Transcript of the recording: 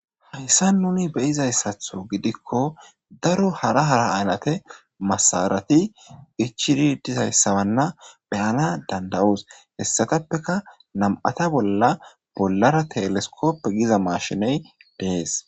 Hayssa nuni beyizayssatho gidikko daro hara hara aalate masarati ichiri dizayssabanna beyana dandayoos hessatappeka nam,ata bolla bollara teleskoppe giza mashiney deees.